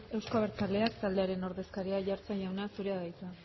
euzko abertzaleak taldearen ordezkaria aiartza jauna zurea da hitza